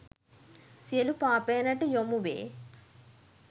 සියලු පාපයනට යොමු වේ.